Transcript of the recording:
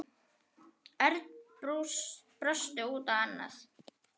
Örn brosti út í annað.